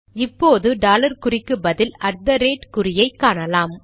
இப்போது டாலர் குறிக்கு பதில் அட் தெ ரேட் ஐ காணலாம்